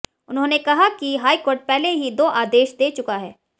उन्होंने कहा कि हाईकोर्ट पहले ही दो आदेश दे चुका है